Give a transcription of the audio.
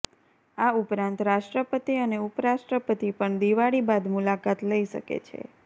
આ ઉપરાંત રાષ્ટ્રપતિ અને ઉપરાષ્ટ્રપતિ પણ દિવાળી બાદ મુલાકાત લઇ શકે છે